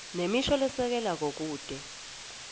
nemisho lesekelako kute